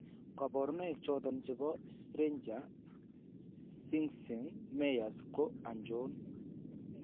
kabarunaik choton chebo Spranger Schinze Myers ko achon ?